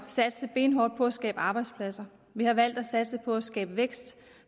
satse benhårdt på at skabe arbejdspladser vi har valgt at satse på at skabe vækst